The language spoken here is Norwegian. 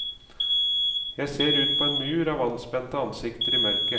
Jeg ser ut på en mur av anspente ansikter i mørket.